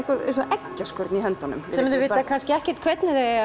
eggjaskurn í höndunum sem þau vita kannski ekkert hvernig þau